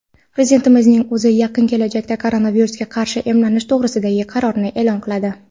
Prezidentning o‘zi yaqin kelajakda koronavirusga qarshi emlanish to‘g‘risidagi qarorini e’lon qiladi.